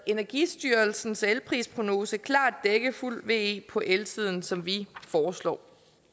energistyrelsens elprisprognose klart dække fuld ve på elsiden som vi foreslår